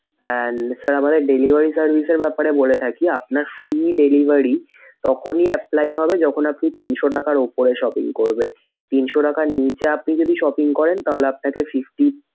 and আমাদের delivery service এর ব্যাপারে বলে থাকি আপনার free delivery তখনই apply হবে যখন আপনি তিনশো টাকার উপরে shopping করবেন। তিনশো টাকার নিচে যদি আপনি shopping করেন তাহলে আপনাকে fifty